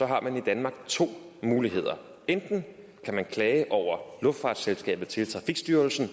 har man i danmark to muligheder enten kan man klage over luftfartsselskabet til trafikstyrelsen